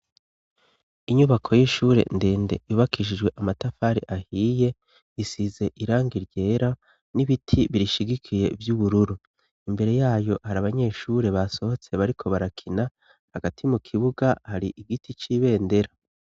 Inyubako y'ishure ndende ibakishijwe amatafari ahiye isize irangiryera n'ibiti birishigikiye by'ubururu imbere yayo hari abanyeshuri basohotse bariko barakina hagati mu kibuga hari igiti cy'ibendera.